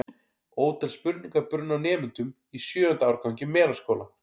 Ótal spurningar brunnu á nemendum í sjöunda árgangi Melaskóla.